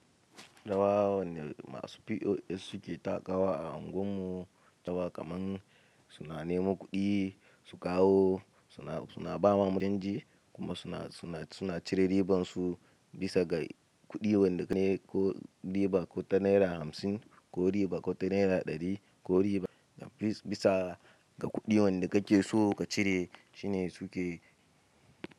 Rawa wanne masu POS suke takawa a unguwar mu. Rawa kaman su na neman kuɗi, su kawo, suna, suna bawa mu canji kuma suna, suna, suna cire riban su bisa ga kuɗi wanda ka ne ko riba ko ta naira hamsin ko riba ko ta naira ɗari ko riba. Bis, bisa ga kuɗi wanda kake so ka cire shine suke.